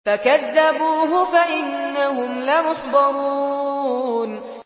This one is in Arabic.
فَكَذَّبُوهُ فَإِنَّهُمْ لَمُحْضَرُونَ